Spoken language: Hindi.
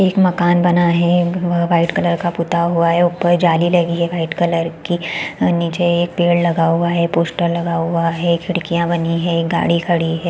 एक मकान बना है वाइट कलर का पुता हुआ है ऊपर जाली लगी है वाइट कलर की और नीचे एक पेड़ लगा हुआ है पोस्टर लगा हुआ है खिड़कियाँ बनी है गाड़ी खड़ी हैं ।